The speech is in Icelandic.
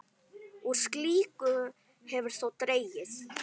Úr slíku hefur þó dregið.